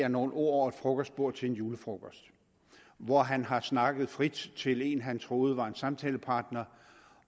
er nogle ord over et frokostbord til en julefrokost hvor han har snakket frit til en han troede var en samtalepartner